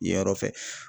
Yenyɔrɔ fɛ